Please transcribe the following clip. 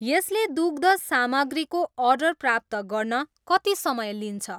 यसले दुग्ध सामग्रीको अर्डर प्राप्त गर्न कति समय लिन्छ?